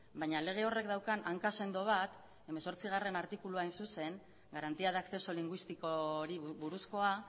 baina lege horrek daukan hanka sendo bat hemezortzigarrena artikulua hain zuzen garantía de acceso lingüísticori buruzkoa